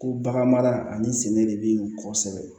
Ko bagan mara ani sɛnɛ de be yen kosɛbɛ